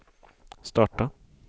starta